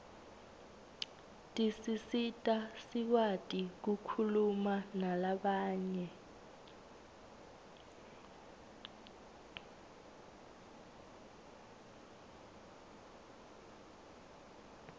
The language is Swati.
tisisita sikwati kukhulumanalabanye